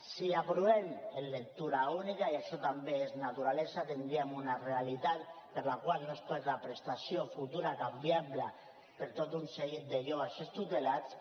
si l’aprovem en lectura única i això també és naturalesa tindríem una realitat per la qual no es perd la prestació futura canviable per a tot un seguit de joves extutelats